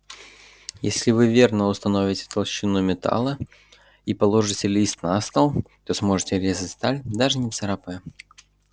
если вы верно установите толщину металла и положите лист на стол то сможете резать сталь даже не царапая